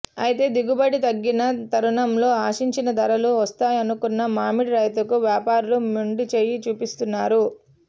అయితే దిగుబడి తగ్గిన తరుణంలో ఆశించిన ధరలు వస్తాయనుకున్న మామిడి రైతుకు వ్యాపారులు మొండి చేయి చూపిస్తున్నారు